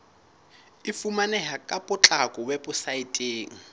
e fumaneha ka potlako weposaeteng